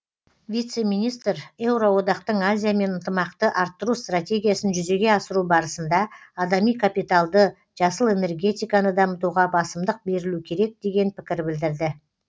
вице министр еуроодақтың азиямен ынтымақты арттыру стратегиясын жүзеге асыру барысында адами капиталды жасыл энергетиканы дамытуға басымдық берілу керек деген пікір білдірді